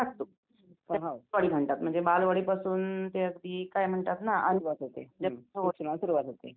अच्छा आणि त्याला यात्रा असं का म्हणतात यात्रा म्हणजे नेमकं यात्राच का म्हणतात त्याला असं ?